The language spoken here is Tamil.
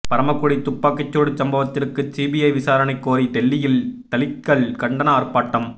பரமக்குடி துப்பாக்கிச்சூடு சம்பவத்திற்கு சிபிஐ விசாரணை கோரி டெல்லியில் தலித்கள் கண்டன ஆர்பாட்டம்